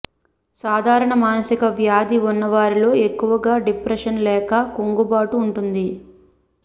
సాధారణ మానసిక వ్యాధి ఉన్నవారిలో ఎక్కువగా డిప్రెషన్ లేక కుంగుబాటు ఉంటుంది